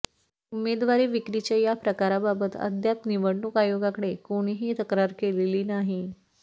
उमेदवारी विक्रीच्या या प्रकाराबाबत अद्याप निवडणूक आयोगाकडे कोणीही तक्रार केलेली नाही